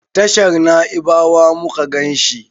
tashar naibawa muka ganshi